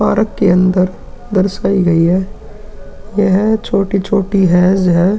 Park के अंदर दर्शायी गयी है। यहाँ छोटी-छोटी हैज हैं।